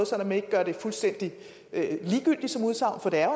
så man ikke gør det fuldstændig ligegyldigt som udsagn for det er